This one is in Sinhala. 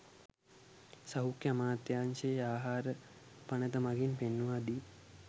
සෞඛ්‍ය අමාත්‍යාංශයේ ආහාර පනත මගින් පෙන්වා දී